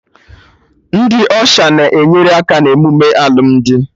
Ndị Ọsha na-enyere aka na emume alụmdi